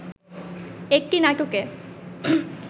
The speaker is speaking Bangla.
একটি নাটকে